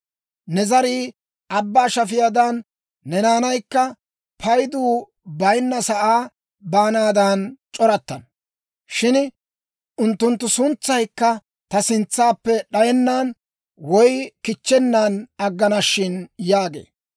Ne zarii abbaa shafiyaadan, ne naanaykka paydu bayinna sa'aa baanaadan c'orattana shin; unttunttu suntsaykka ta sintsaappe d'ayennan woy kichchennan aggana shin» yaagee.